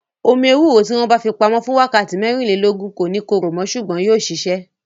Omi ewúro tí wọn bá fi pamo fún wákàtí mẹ́rìnlélógún, kò ní korò mo ṣùgbọ́n yóò sisẹ